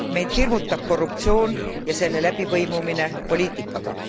Meid hirmutab korruptsioon ja selle läbipõimumine poliitikaga.